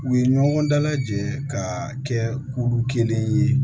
U ye ɲɔgɔn dalajɛ ka kɛ kulu kelen ye